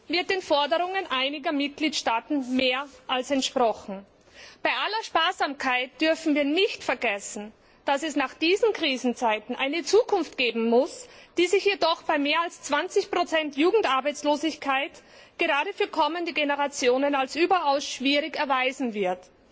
Damit wird den Forderungen einiger Mitgliedstaaten mehr als entsprochen. Bei aller Sparsamkeit dürfen wir nicht vergessen, dass es nach diesen Krisenzeiten eine Zukunft geben muss, die sich jedoch bei mehr als 20 Jugendarbeitslosigkeit gerade für kommende Generationen als überaus schwierig erweisen wird.